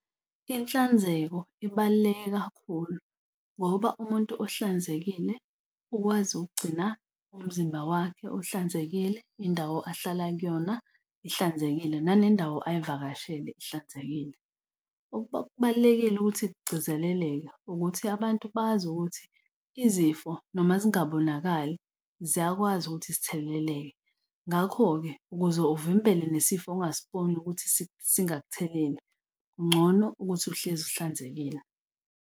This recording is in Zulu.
Inhlanzeko ibaluleke kakhulu ngoba umuntu ohlanzekile ukwazi ukugcina umzimba wakhe uhlanzekile, indawo ahlala kuyona ihlanzekile nanendawo ayivakashele ihlanzekile. Kubalulekile ukuthi kugcizelelelwe ukuthi abantu bazi ukuthi izifo noma zingabonakali ziyakwazi ukuthi zitheleleke. Ngakho-ke ukuze uvimbele nesifo ungasiboni ukuthi singakuthelela, kungcono ukuthi uhlezi uhlanzekile.